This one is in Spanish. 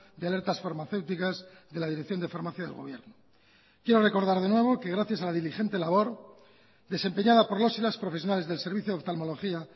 de alertas farmacéuticas de la dirección de farmacia del gobierno quiero recordar de nuevo que gracias a la diligente labor desempeñada por los y las profesionales del servicio de oftalmología